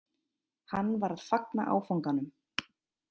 Hann var að fagna áfanganum